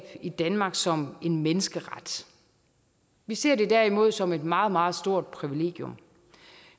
i danmark som en menneskeret vi ser det derimod som et meget meget stort privilegium